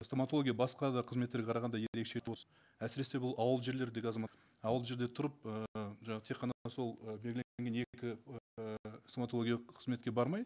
стоматология басқа да қызметтерге қарағанда ерекше әсіресе бұл ауыл жерлердегі азамат ауыл жерде тұрып і жаңағы тек қана сол і стоматологиялық қызметке бармай